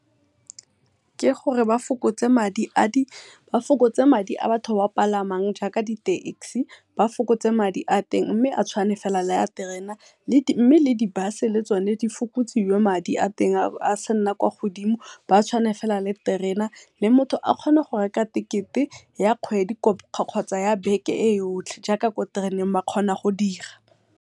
Ke gore ba fokotse madi a di ba fokotse madi a batho ba palamang jaaka di-taxi ba fokotse madi a teng mme a tshwane fela le a terena mme, le di-bus le tsone di fokotsiwe madi a teng a sa nna kwa go dimo batshwane fela le terena. Le motho a kgone go reka tekete ya kgwedi kgotsa ya beke yo yotlhe jaaka kwa tereneng ba kgona go dira.